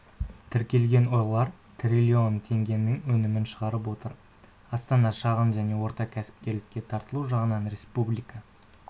тіркелген олар трлн теңгенің өнімін шығарып отыр астана шағын және орта кәсіпкерлікке тартылу жағынан республика